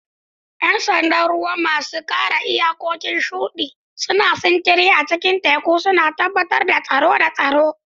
Yan sandan ruwa, masu kare iyakokin shudi, suna sintiri a cikin teku, suna tabbatar da tsaro da tsaro.